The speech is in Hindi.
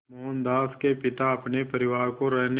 मोहनदास के पिता अपने परिवार को रहने